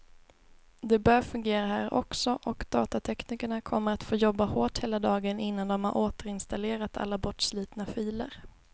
Det bör fungera här också, och datateknikerna kommer att få jobba hårt hela dagen innan de har återinstallerat alla bortslitna filer.